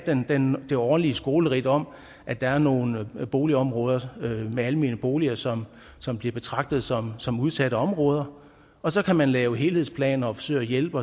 det årlige skoleridt om at der er nogle boligområder med almene boliger som som bliver betragtet som som udsatte områder og så kan man lave helhedsplaner og forsøge at hjælpe